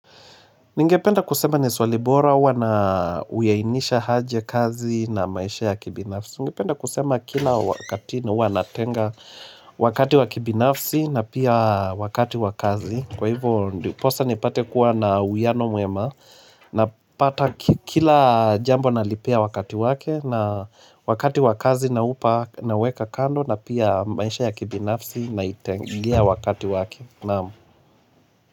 Ningependa kusema ni swali bora huwa na huyainisha aje kazi na maisha ya kibinafsi. Ningependa kusema kila wakati huwa natenga wakati wa kibinafsi na pia wakati wa kazi. Kwa hivyo ndiposa nipate kua na uwiano mwema na pata kila jambo na lipea wakati wake na wakati wa kazi naupa na weka kando na pia maisha ya kibinafsi na itengea wakati wake.